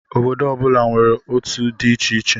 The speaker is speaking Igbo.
Obodo ọ bụla nwere otú dị iche iche.